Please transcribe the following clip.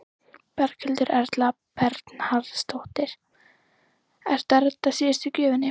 Berghildur Erla Bernharðsdóttir: Ertu að redda síðustu gjöfinni?